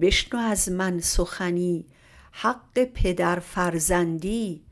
بشنو از من سخنی حق پدرفرزندی